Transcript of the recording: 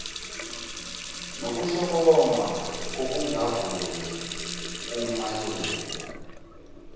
nokuhlokoma kokungavumi kumalungu